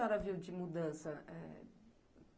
O que a senhora viu de mudança, é...?